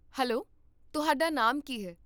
Hello, ਤੁਹਾਡਾ ਨਾਮ ਕੀ ਹੈ?